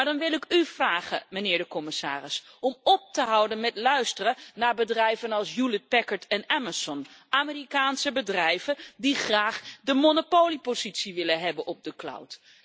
Maar dan wil ik u vragen, meneer de commissaris, om op te houden met luisteren naar bedrijven als Hewlett Packard en Amazon, Amerikaanse bedrijven die graag de monopoliepositie willen hebben op de cloud.